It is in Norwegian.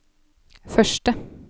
første